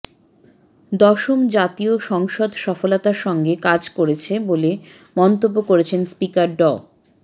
দশম জাতীয় সংসদ সফলতার সঙ্গে কাজ করছে বলে মন্তব্য করেছেন স্পিকার ড